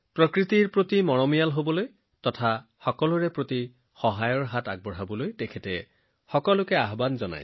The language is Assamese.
তেওঁ আশা কৰিছিল যে মানুহে ইজনে সিজনক সহায় কৰিব আৰু প্ৰকৃতিৰ প্ৰতি দায়বদ্ধ হব